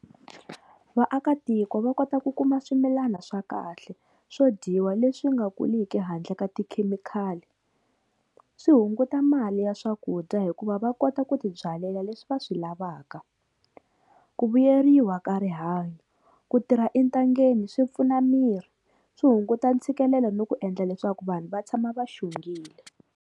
Vaakatiko va kota ku kuma swimilana swa kahle swo dyiwa leswi nga kuliki handle ka tikhemikhali, swi hunguta mali ya swakudya hikuva va kota ku tibyalela leswi va swi lavaka. Ku vuyeriwa ka rihanyo, ku tirha entangeni swi pfuna miri, swi hunguta ntshikelelo ni ku endla leswaku vanhu va tshama va xongile.